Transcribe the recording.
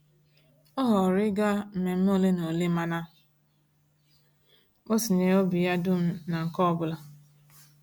Ọ họọrọ ịga mmemme ole na ole mana o tinyere obi ya dum na nke ọbụla.